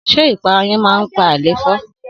Sé ìpara yen man pa àléfọ́?